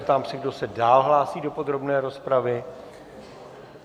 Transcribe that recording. Ptám se, kdo se dál hlásí do podrobné rozpravy.